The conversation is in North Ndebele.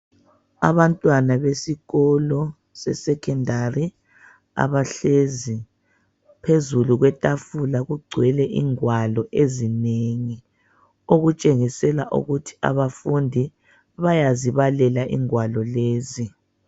Abantwana besikolo seSecondary abahlezi phezulu kwetafula ,kugcwele ingwalo ezinengi. Okutshengisela ukuthi abafundi bayazibalela ingwalo lezi.